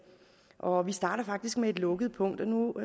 og vi starter faktisk med et lukket punkt nu